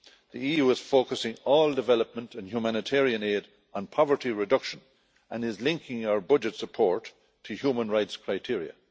The EU is focusing all development and humanitarian aid on poverty reduction and is linking our budget support to human rights criteria.